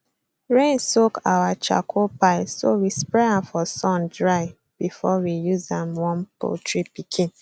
rain soak our charcoal pile so we spread am for sun dry before we use am warm poultry pikin